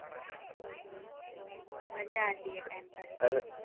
મજા હતી એ ટાઇમ પર